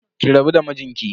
Ki rabu da mijinki.